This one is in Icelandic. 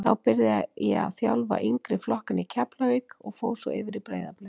Þá byrjaði ég að þjálfa yngri flokkana í Keflavík og fór svo yfir í Breiðablik.